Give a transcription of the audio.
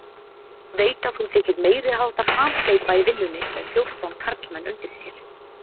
Veit að hún þykir meiriháttar hamhleypa í vinnunni með fjórtán karlmenn undir sér.